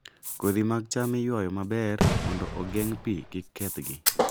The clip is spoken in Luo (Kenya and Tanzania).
Kodhi mag cham iywayo maber mondo ogeng' pi kik kethgi.